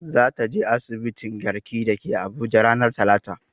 Za ta je asibitin garki da ke abuja ranar talata